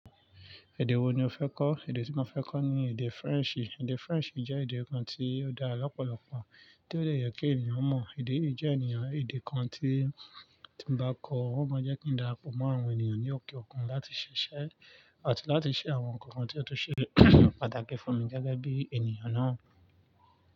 Èdè wo ni o fẹ́ kọ́? Èdè tí mo fẹ́ kọ́ ni èdè French. Èdè French jẹ́ èdè kan tí ó dára lọ́pọ̀lọpọ̀, tí ó dẹ yà kí ènìyàn mọ̀. Èdè yìí jẹ́ eniyan èdè kan tí tí ń bá kọ́ ọ, ó máa jẹ́ kí n dára pọ̀ mọ́ àwọn ènìyàn ní òkè òkun láti ṣiṣẹ́ àti láti ṣe àwọn ǹkan kan tí ó tun ṣe pàtàkì fún mi gẹ́gẹ́ bí ènìyàn náà.